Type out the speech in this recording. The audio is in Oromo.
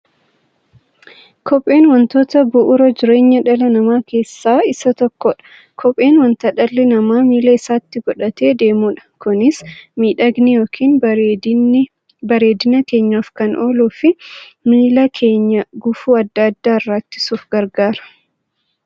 Kopheen wantoota bu'uura jireenya dhala namaa keessaa isa tokkodha. Kopheen wanta dhalli namaa miilla isaatti godhatee deemudha. Kunis miidhagani yookiin bareedina keenyaf kan ooluufi miilla keenya gufuu adda addaa irraa ittisuuf gargaara.